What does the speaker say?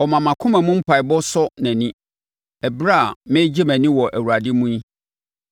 Ɔmma mʼakoma mu mpaeɛbɔ nsɔ nʼani ɛberɛ a meregye mʼani wɔ Awurade mu yi.